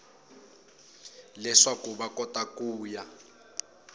leswaku va kota ku ya